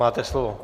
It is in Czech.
Máte slovo.